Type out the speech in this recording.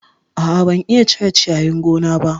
A'a, ban iya cire ciyayin gona ba